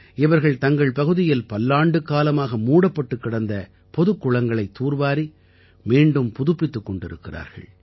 இவர்கள் தங்கள் பகுதியில் பல்லாண்டுக்காலமாக மூடப்பட்டுக் கிடந்த பொதுக் குளங்களைத் தூர்வாரி மீண்டும் புதுப்பித்துக் கொண்டிருக்கிறார்கள்